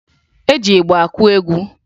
E ji ịgba akụ egwu